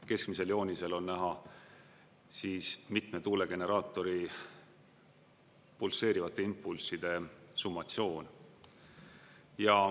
Keskmisel joonisel on näha siis mitme tuulegeneraatori pulseerivate impulsside summatsioon.